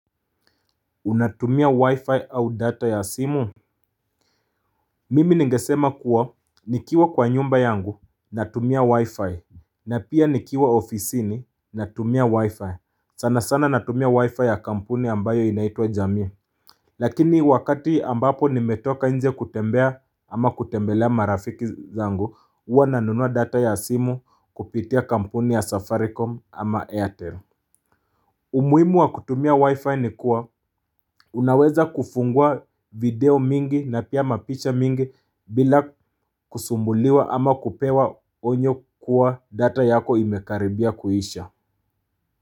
Unatumia wi-fi au data ya simu Mimi ningesema kuwa nikiwa kwa nyumba yangu natumia wi-fi na pia nikiwa ofisini natumia wi-fi sana sana natumia wi-fi ya kampuni ambayo inaitwa jamii Lakini wakati ambapo nimetoka nje kutembea ama kutembelea marafiki zangu huwa nanunua data ya simu kupitia kampuni ya safaricom ama airtel umuhimu wa kutumia wifi ni kuwa unaweza kufungua video mingi na pia mapicha mingi bila kusumbuliwa ama kupewa onyo kuwa data yako imekaribia kuisha.